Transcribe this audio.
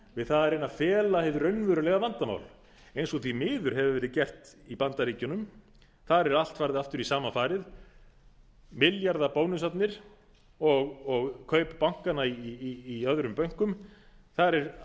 við að reyna að fela hið raunverulega vandamál eins og því miður hefur verið gert í bandaríkjunum þar er allt farið aftur í sama farið milljarðabónusarnir og kaup bankanna í öðrum bönkum það er